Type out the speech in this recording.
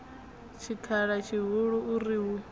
tshikhala tshihulu u ri hu